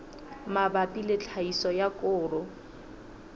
mabapi le tlhahiso ya koro